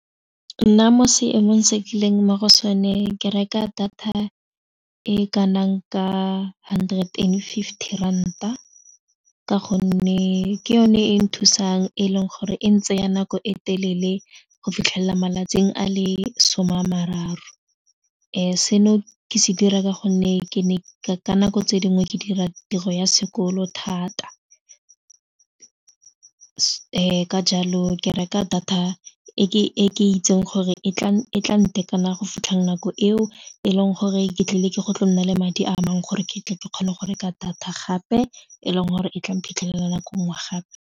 Nna mo seemong se ke leng mo go sone ke reka data e kanang ka hundred and fifty ranta ka gonne ke yone e nthusang e leng gore e ntsaya nako e telele go fitlhelela malatsing a le some a mararo seno ke se dira ka gonne ke ne ka nako tse dingwe ke dira tiro ya sekolo thata ka jalo o ke reka data e ke itseng gore e tla ntekana go fitlhang nako eo e leng gore ke tlile go tla nna le madi a mangwe gore ke tle ke kgone go reka data gape e leng gore e tla iphitlhela nako nngwe gape.